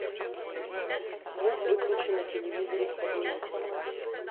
звук выключи на телевизоре в кабинете